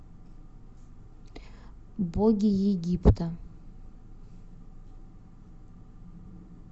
боги египта